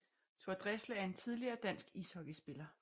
Thor Dresler er en tidligere dansk ishockeyspiller